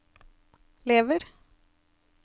lever